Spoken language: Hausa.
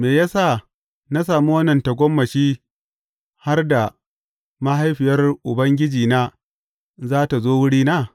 Me ya sa na sami wannan tagomashi har da mahaifiyar Ubangijina za tă zo wurina?